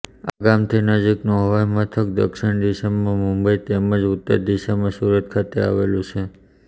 આ ગામથી નજીકનું હવાઇમથક દક્ષિણ દિશામાં મુંબઇ તેમ જ ઉત્તર દિશામાં સુરત ખાતે આવેલું છે